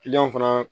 Kiliyanw fana